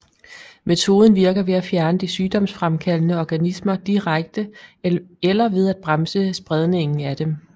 Metoden virker ved at fjerne de sygdomsfremkaldende organismer direkte eller ved at bremse spredningen af dem